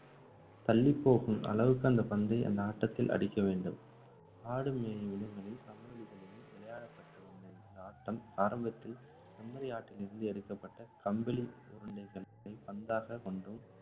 தள்ளிப்போகும் அளவுக்கு அந்த பந்தை இந்த ஆட்டத்தில் அடிக்கவேண்டும். ஆடு மேயும் இடங்களில், சம வெளிகளிலும் விளையாடப்பட்டு வந்த இந்த ஆட்டம், ஆரம்பத்தில் செம்மறி ஆட்டிலிருந்து எடுக்கப்பட்ட கம்பிளி உருண்டைகளை பந்தாகக் கொண்டும்,